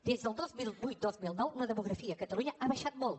des del dos mil vuit dos mil nou la demografia a catalunya ha baixat molt